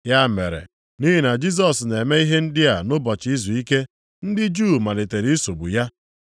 Ya mere, nʼihi na Jisọs na-eme ihe ndị a nʼụbọchị izuike, ndị Juu malitere isogbu ya.